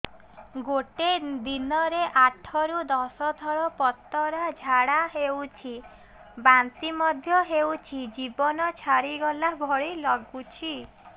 ଗୋଟେ ଦିନରେ ଆଠ ରୁ ଦଶ ଥର ପତଳା ଝାଡା ହେଉଛି ବାନ୍ତି ମଧ୍ୟ ହେଉଛି ଜୀବନ ଛାଡିଗଲା ଭଳି ଲଗୁଛି